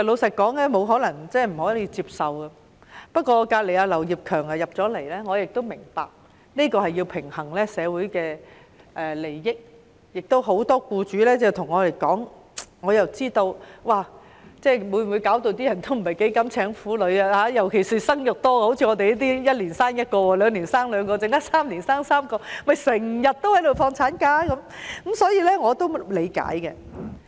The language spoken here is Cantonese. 不過——坐在我鄰近的劉業強議員剛進來會議廳——我明白要平衡社會利益，有很多僱主有意見，這項修改可能令他們不想聘請婦女工作，尤其是像我這類生育多的婦女，一年生1個孩子，兩年生兩個孩子 ，3 年生3個孩子，就會長年放產假，所以我是理解的。